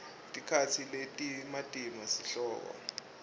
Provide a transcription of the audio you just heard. tikatsi letimatima sihloko